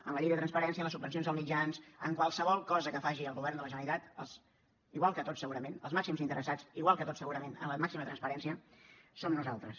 en la llei de transparència en les subvencions als mitjans en qualsevol cosa que faci el govern de la generalitat els màxims interessats igual que tots segurament en la màxima transparència som nosaltres